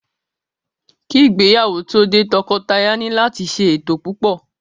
Ki ìgbéyàwó tó dé, tọkọtaya ni láti ṣe ètò púpò.